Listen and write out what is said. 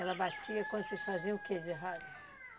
Ela batia quando vocês faziam o quê de errado?